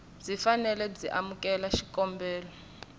byi fanele byi amukela xikombelo